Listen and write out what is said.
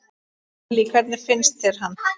Lillý: Hvernig finnst þér hann?